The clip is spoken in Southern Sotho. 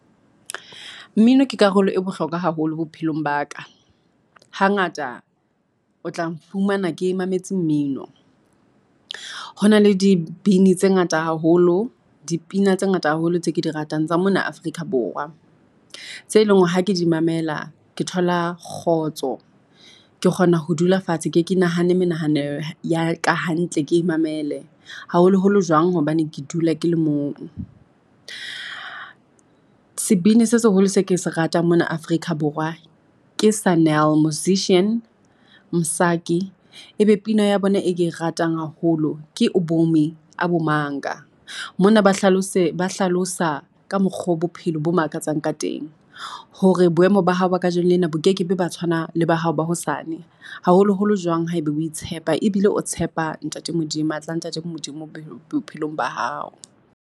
Mmino ke karolo e bohlokwa haholo bophelong ba ka, ha ngata o tla nfumana ke mametse mmino. Hona le dibini tse ngata haholo, dipina tse ngata haholo tse ke di ratang tsa mona Afrika Borwa, tse leng hore ha ke di mamela ke thola kgotso, ke kgona ho dula fatshe ke nahane menahano ya ka hantle ke imamele, haholo holo jwang hobane ke dula ke le mong. Sebini se seholo se ke se ratang mona Afrika Borwa ke Sun el musician, Msaki. Ebe pina ya bona e ratang haholo ke Ubomi abumanga, mona ba hlalosa ka mokgo bophelo bo makatsang ka teng, hore boemo ba hao ba kajeno lena bo kekebe ba tshwanang le ba hao ba hosane. Haholo holo jwang haeba o tshepa, ebile o tshepa matla a ntate Modimo bophelong ba hao.